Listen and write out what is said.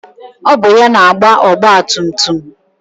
Ọ bụ ya na-agba ọgbatumtum